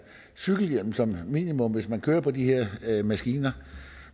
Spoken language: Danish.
cykelhjelm som minimum hvis man kører på de her maskiner